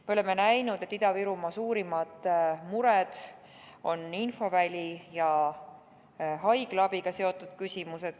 Me oleme näinud, et Ida-Virumaa suurimad mured on infoväli ja haiglaabiga seotud küsimused.